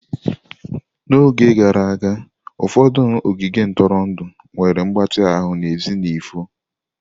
N'oge gara aga, ụfọdụ ogige ntụrụndụ nwere mgbatị ahụ n'èzí n'efu.